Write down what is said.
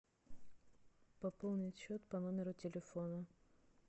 пополнить счет по номеру телефона